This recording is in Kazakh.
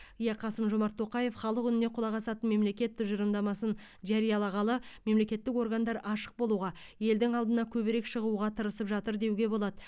иә қасым жомарт тоқаев халық үніне құлақ асатын мемлекет тұжырымдасын жариялағалы мемлекеттік органдар ашық болуға елдің алдына көбірек шығуға тырысып жатыр деуге болады